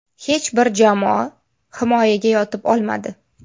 Hech bir jamoa himoyaga yotib olmadi.